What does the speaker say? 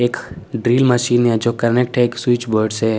एक drill machine है जो कनेक्ट है एक स्विच बोर्ड से--